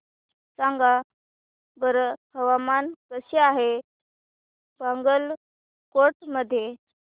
सांगा बरं हवामान कसे आहे बागलकोट मध्ये